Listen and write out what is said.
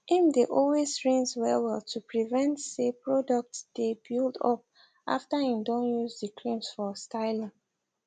im dae always rinse wellwell to prevent say products dae build up after im don use the creams for styling